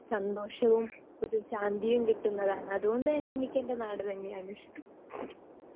speaker 2 സന്തോഷവും ഒരു ശാന്തിയും കിട്ടുന്നതാണ് അതുകൊണ്ടുതന്നെ എനിക്കേൻ്റെ നാട് തന്നെയാണ് ഇഷ്ടം